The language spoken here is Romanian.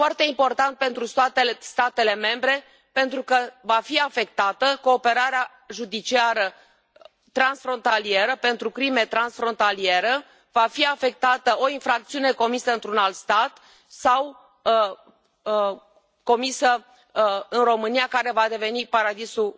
Este foarte important pentru statele membre, pentru că va fi afectată cooperarea judiciară transfrontalieră pentru crime transfrontaliere, va fi afectată o infracțiune comisă într un alt stat sau comisă în România, care va deveni paradisul